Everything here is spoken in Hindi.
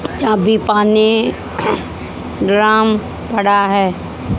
चाबी पाने ड्राम पड़ा है।